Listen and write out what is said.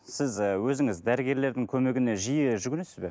сіз ы өзіңіз дәрігерлердің көмегіне жиі жүгінесіз бе